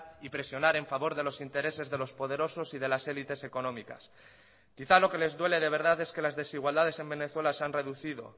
y presionar en favor de los intereses de los poderosos y de las élites económicas quizás lo que les duele de verdad es que las desigualdades en venezuela se han reducido